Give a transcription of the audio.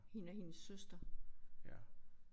Hende og hendes søster